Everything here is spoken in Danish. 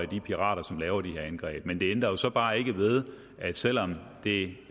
de pirater som laver de her angreb men det ændrer jo bare ikke ved selv om det